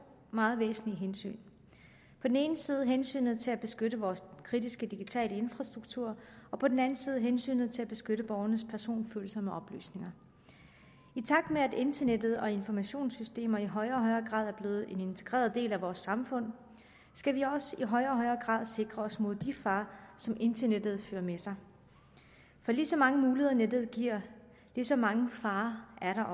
meget væsentlige hensyn på den ene side hensynet til at beskytte vores kritiske digitale infrastruktur og på den anden side hensynet til at beskytte borgernes personfølsomme oplysninger i takt med at internettet og informationssystemer i højere og højere grad er blevet en integreret del af vores samfund skal vi også i højere og højere grad sikre os mod de farer som internettet fører med sig for lige så mange muligheder nettet giver lige så mange farer er der